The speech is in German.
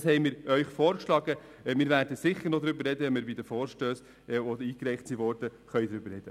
Das haben wir Ihnen vorgeschlagen, und wir werden bei den eingereichten Vorstössen sicher noch darüber sprechen.